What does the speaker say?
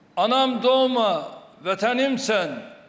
Anam doğma vətənim sən.